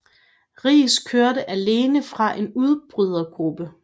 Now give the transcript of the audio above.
Riis kørte alene fra en udbrydergruppe